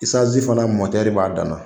Isanzi fana mɔtɛri b'a dan na.